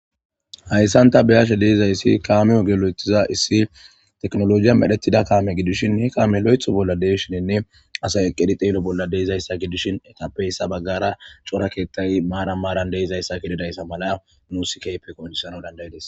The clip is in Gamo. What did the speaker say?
hayssan ta beyashe deizayssi kaameyo gelo7ethiza issi teknolojiya medhetida kaame gidishin he kaame loetho bolla deishininne asay eqqedi xeelo bolla deizayssa gidishin etappeyssa baggara cora keettay maaran maaran deizayssa gedidayssa mala nuusi kaype koondisana dandaydes